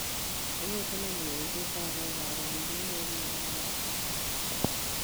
Nĩ mĩcemanio ĩrĩkũ ĩkoragwo ĩhaarĩirio mweri wa Machi